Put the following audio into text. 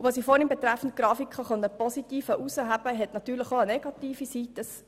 Bei den Grafiken gibt es allerdings auch eine negative Seite.